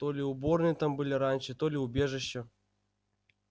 то ли уборные там были раньше то ли убежища